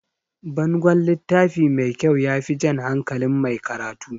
Bangon littafi mai kyau yafi jan hankalin mai karatu